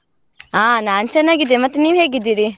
ಅಹ್ ನಾನ್ ಚೆನ್ನಾಗಿದ್ದೆ, ಮತ್ತೆ ನೀವ್ ಹೇಗಿದ್ದೀರಿ?